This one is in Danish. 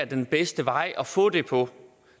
den bedste vej at få det på